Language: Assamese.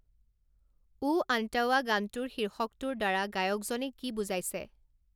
উ আন্তাৱা' গানটোৰ শীৰ্ষকটোৰ দ্বাৰা গায়কজনে কি বুজাইছে